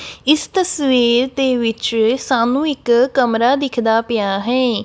ਇਸ ਤਸਵੀਰ ਦੇ ਵਿੱਚ ਸਾਨੂੰ ਇੱਕ ਕਮਰਾ ਦਿਖਦਾ ਪਿਆ ਹੈ।